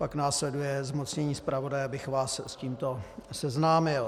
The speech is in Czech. Pak následuje zmocnění zpravodaje, abych vás s tímto seznámil.